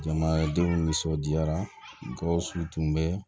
Jamanadenw nisɔndiyara gawo tun bɛ